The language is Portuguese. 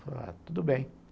Falei, tudo bem.